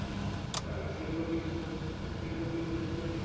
আর সেগুলো বিষ হোচ সেগুলো বিষ হচ্ছে